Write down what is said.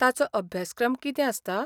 ताचो अभ्यासक्रम कितें आसता?